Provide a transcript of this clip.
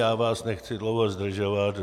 Já vás nechci dlouho zdržovat.